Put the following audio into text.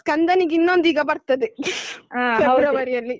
ಸ್ಕಂದನಿಗ್ ಇನ್ನೊಂದು ಈಗ ಬರ್ತದೆ ಫೆಬ್ರವರಿಯಲ್ಲಿ.